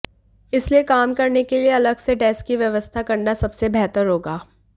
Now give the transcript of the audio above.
इसलिए काम करने के लिए अलग से डेस्क की व्यवस्था करना सबसे बेहतर होगा